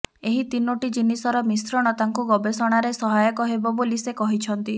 ଏହି ତିନୋଟି ଜିନିଷର ମିଶ୍ରଣ ତାଙ୍କୁ ଗବେଷଣାରେ ସହାୟକ ହେବ ବୋଲି ସେ କହିଛନ୍ତି